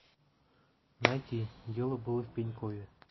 найти дело было в пенькове